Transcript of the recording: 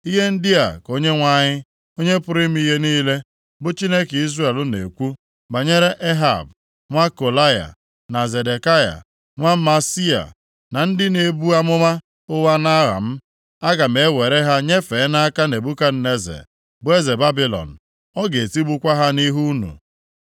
Ihe ndị a ka Onyenwe anyị, Onye pụrụ ime ihe niile, bụ Chineke Izrel na-ekwu banyere Ehab nwa Kolaya, na Zedekaya nwa Maaseia, ndị na-ebu amụma ụgha nʼaha m, “Aga m ewere ha nyefee nʼaka Nebukadneza bụ eze Babilọn. Ọ ga-etigbukwa ha nʼihu unu.